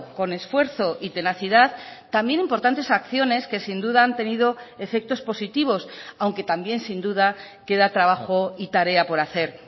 con esfuerzo y tenacidad también importantes acciones que sin duda han tenido efectos positivos aunque también sin duda queda trabajo y tarea por hacer